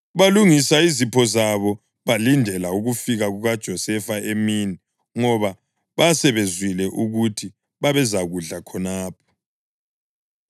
Balungisa izipho zabo balindela ukufika kukaJosefa emini ngoba basebezwile ukuthi babezakudla khonapho.